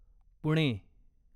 Pune